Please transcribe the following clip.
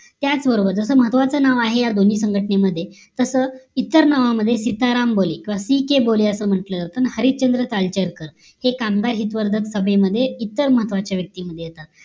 त्याच बरोबर जस महत्वाचं नाव आहे या दोनी संघटनेमध्ये तस इतर नावामध्ये सीताराम बोले ck बोले असा म्हंटल जात आणि हरिश्चंद्र सालचरकर हे कामगार हित वर्धक सभेमध्ये इतर महत्वाचे व्यक्तीमध्ये येतात